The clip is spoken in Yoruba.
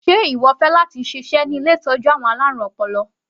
Sé ìwọ fẹ́ láti ṣiṣẹ́ ní ilé ìtọ́jú àwọn alárùn ọpọlọ?